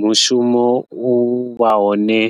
Mushumo uvha hone